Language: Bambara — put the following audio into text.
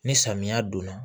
Ni samiya donna